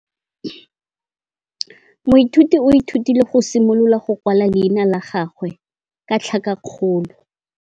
Moithuti o ithutile go simolola go kwala leina la gagwe ka tlhakakgolo.